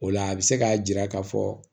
O la a bɛ se k'a jira k'a fɔ